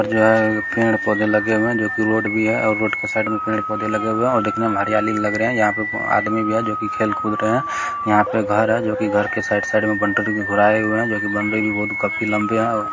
जोहे पेड़ पौधे लगे हुए है जोकि रोड भी है और रोड के साइड में पेड़ पौधे लगे हुए है और दिखने में हरियाली लग रही है यहाँ पे को आदमी भी है जोकि खेल कूद रहे है यहाँ पे घर है जोकी घर के साइड साइड म-- काफी लम्बे है |